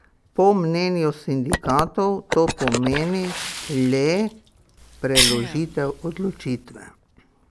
Po mnenju sindikatov to pomeni le preložitev odločitve.